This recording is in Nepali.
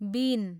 बीन